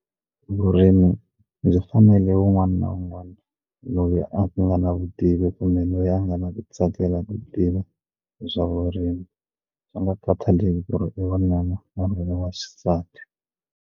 Vurimi byi fanele wun'wana na wun'wana loyi a nga na vutivi kumbe loyi a nga na ku tsakela ku tiva hi swa vurimi swi nga khathaleki ku ri i wanuna wa xisati.